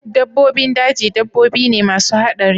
Dabbobin daji dabbobi ne masu haɗari